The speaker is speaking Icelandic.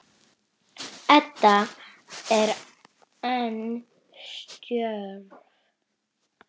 Edda er enn stjörf.